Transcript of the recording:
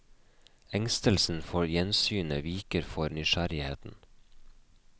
Engstelsen for gjensynet viker for nysgjerrigheten.